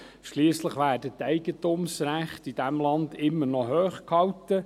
Schliesslich werden die Eigentumsrechte in diesem Land immer noch hochgehalten.